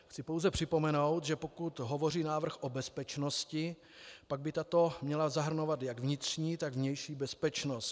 Chci pouze připomenout, že pokud hovoří návrh o bezpečnosti, pak by tato měla zahrnovat jak vnitřní, tak vnější bezpečnost.